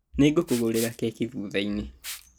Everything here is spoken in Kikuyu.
Nĩngũkũgũrĩra keki thutha-inĩ